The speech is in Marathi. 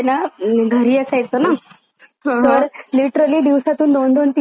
हा हा लिटररी दिवसा तून दोन दोन तीन तीन एपिसोड क्राईम पेट्रोल चे बघायचो.